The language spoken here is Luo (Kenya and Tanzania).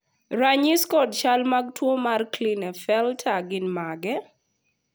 ranyisi kod chal mag tuo mar Klinefelter gin mage?